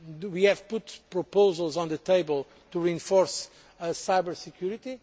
We have put proposals on the table to enhance cyber security.